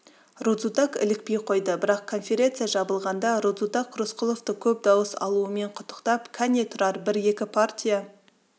рудзутак илікпей қойды бірақ конференция жабылғанда рудзутак рысқұловты көп дауыс алуымен құттықтап кәне тұрар бір-екі партия